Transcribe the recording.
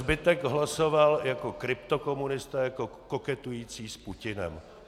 Zbytek hlasoval jako kryptokomunisté, jako koketující s Putinem.